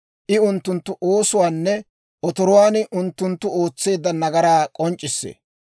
I unttunttu oosuwaanne otoruwaan unttunttu ootseedda nagaraa k'onc'c'issee.